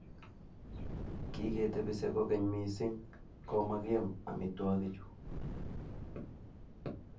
Kiketepise kogeny mising ko makiam amitwogichu